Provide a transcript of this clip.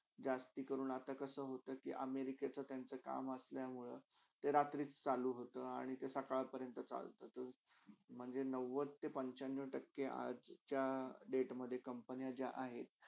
जसती कडून असा- कसा होता कि अमेरिकाच्या लोकंचा काम असल्यामुळे ते रात्रीच चालू होता आणि सकाळपरण चालता म्हणजे नव्वदते पंचावन्न टक्के आजच्या डेटमधे जे company आहेत.